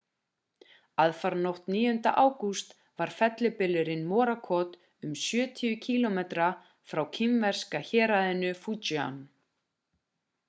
aðfaranótt 9. ágúst var fellibylurinn morakot um sjötíu kílómetra frá kínverska héraðinu fujian